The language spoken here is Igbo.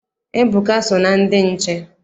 Ebuka so na ndị nche.